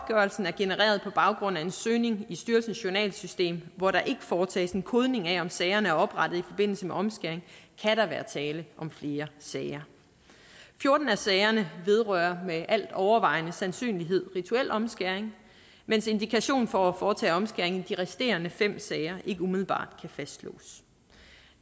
genereret på baggrund af en søgning i styrelsens journalsystem hvor der ikke foretages en kodning af om sagerne er oprettet i forbindelse med omskæring kan der være tale om flere sager fjorten af sagerne vedrører med al overvejende sandsynlighed rituel omskæring mens indikation for at foretage omskæring i de resterende fem sager ikke umiddelbart kan fastslås